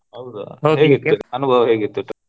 ಹೌದಾ ಅನುಭವ ಹೇಗಿತ್ತು?